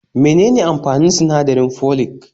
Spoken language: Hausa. Me nene amfanin sinadarin folic?